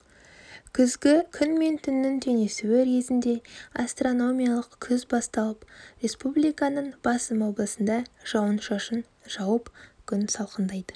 күзгі күн мен түннің теңесуі кезінде астрономиялық күз басталып республиканың басым облысында жауын-шашын жауып күн салқындайды